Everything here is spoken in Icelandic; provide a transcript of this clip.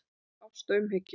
Með ást og umhyggju.